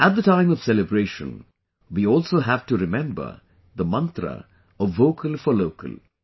At the time of celebration, we also have to remember the mantra of Vocal for Local